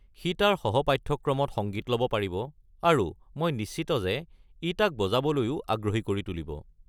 সি তাৰ সহ-পাঠ্যক্ৰমত সংগীত ল'ব পাৰিব, আৰু মই নিশ্চিত যে ই তাক বজাবলৈও আগ্ৰহী কৰি তুলিব।